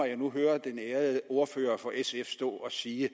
jeg nu hører den ærede ordfører for sf stå og sige at